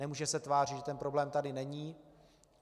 Nemůže se tvářit, že ten problém tady není.